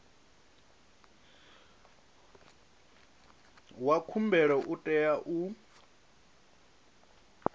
wa khumbelo u tea u